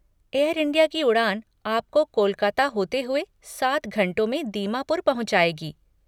Air India की उड़ान आपको कोलकाता होते हुए सात घंटों में दीमापुर पहुँचाएगी।